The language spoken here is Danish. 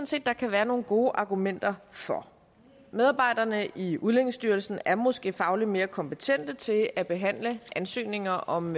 set der kan være nogle gode argumenter for medarbejderne i udlændingestyrelsen er måske fagligt mere kompetente til at behandle ansøgninger om